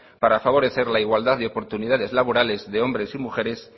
para favorecer la igualdad de oportunidades laborales de hombres y mujeres